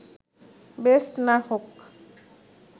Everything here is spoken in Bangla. বেস্ট না হোক